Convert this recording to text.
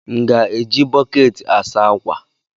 M ga-eji bọkeeti a saa ákwà?